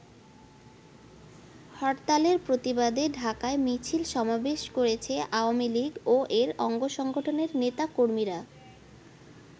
হরতালের প্রতিবাদে ঢাকায় মিছিল-সমাবেশ করেছে আওয়ামী লীগ ও এর অঙ্গসংগঠনের নেতকর্মীরা।